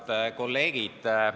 Head kolleegid!